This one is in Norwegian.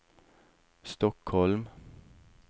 Stockholm